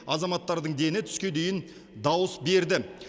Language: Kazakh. азаматтардың дені түске дейін дауыс берді